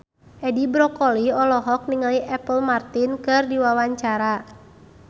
Edi Brokoli olohok ningali Apple Martin keur diwawancara